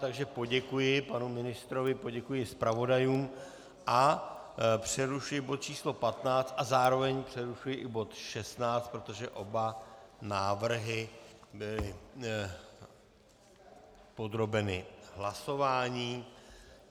Takže poděkuji panu ministrovi, poděkuji zpravodajům a přerušuji bod číslo 15 a zároveň přerušuji i bod 16, protože oba návrhy byly podrobeny hlasování.